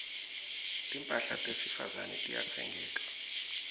timphahla tesifazane tiyatsengeka